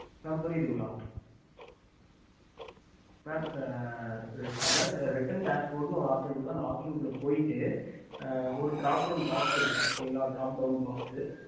mam புரிதுங்கள ம் புரிந்து sir reten teas bord oppsion இருக்கும் okey